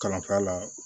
Kalanfa la